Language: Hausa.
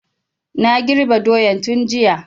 Na girbe doyan tun jiya